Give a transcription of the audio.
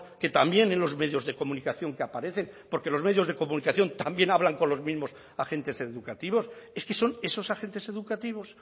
que también en los medios de comunicación que aparecen porque los medios de comunicación también hablan con los mismos agentes educativos es que son esos agentes educativos